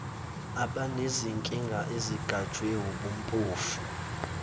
abanezinkinga ezigajwe wubumpofu